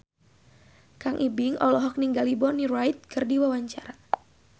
Kang Ibing olohok ningali Bonnie Wright keur diwawancara